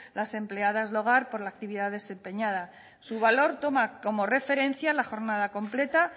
las empleadas de hogar por la actividad desempeñada su valor toma como referencia la jornada completa